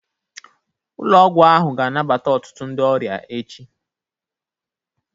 Ụlọ ọgwụ ahụ ga-anabata ọtụtụ ndị ọrịa echi.